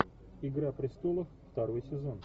игра престолов второй сезон